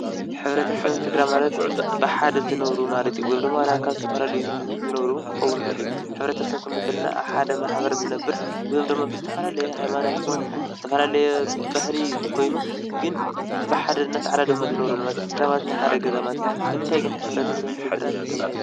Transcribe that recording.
ሕብረተሰብን ስድራ ማለት ብሓደ ዝነብሩ ማለት እዩ፡፡ ወይም ደሞ ዋላ ካብ ዝተፈላለየ ዝነብሩ እውን ክኸውን ይኽእል እዩ፡፡ ሕብረተሰብ ክንብሎ ከለና ኣብ ሓደ ማሕበር ዝነብር ወይ ድማ ብዝተፈላለየ ሃይማኖት ኮይኑ ብዝተፈላለየ ባህሊ ኮይኑ ግን ብሓደ እንዳተዓዳደመ ዝነብረሉ ማለት እዩ፡፡ ስድራ ናይ ሓደ ገዛ ማለት እዩ፡፡ ንምንታይ ግን ሕብረተሰብን ስድራን ተባሂሉ?